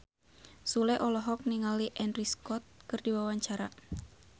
Sule olohok ningali Andrew Scott keur diwawancara